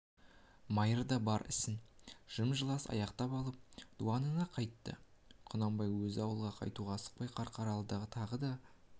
майыр бар ісін жым-жылас аяқтап алып дуанына қайтты құнанбай өзі ауылға қайтуға асықпай қарқаралыда тағы да